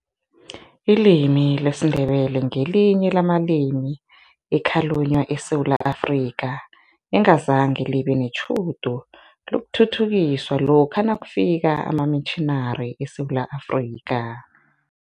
Ilimi lesiNdebele ngelinye lamalimi ekhalunywa eSewula Afrika, engazange libe netjhudu lokuthuthukiswa lokha nakufika amamitjhinari eSewula Afrika.